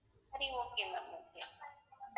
சரி okay ma'am okay